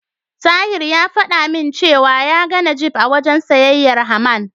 Tahir ya fada min cewa ya ga Najeeb a wajen siyayyar Haman.